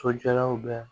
Sojɔlaw bɛɛ